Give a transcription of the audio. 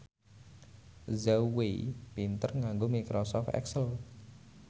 Zhao Wei pinter nganggo microsoft excel